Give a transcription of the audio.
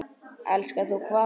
Elskar þú hvað?